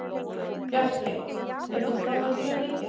Bjarkey, hefur þú prófað nýja leikinn?